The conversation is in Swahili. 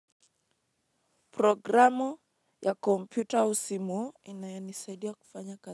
Programu ya kompyuta usimo inayo ni saidia kufanya kata.